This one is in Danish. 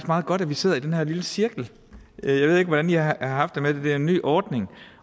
meget godt at vi sidder i den her lille cirkel jeg ved ikke hvordan i har haft det med det det er en ny ordning